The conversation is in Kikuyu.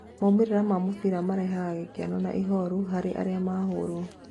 "Maumĩrĩra ma mũbira marehaga gĩkeno na ihoru harĩ arĩa mahũrwo.